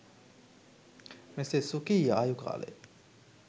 මෙසේ ස්වකීය ආයු කාලය